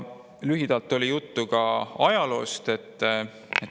Lühidalt oli juttu ka ajaloost.